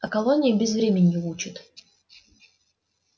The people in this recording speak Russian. а колония безвременью учит